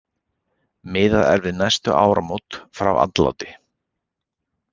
Miðað er við næstu áramót frá andláti.